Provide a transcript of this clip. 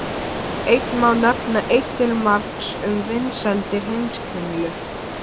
Enn má nefna eitt til marks um vinsældir Heimskringlu.